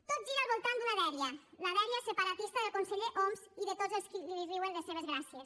tot gira al voltant d’una dèria la dèria separatista del conseller homs i de tots els qui li riuen les seves gràcies